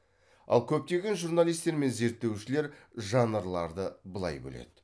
ал көптеген журналистер мен зерттеушілер жанрларды былай бөледі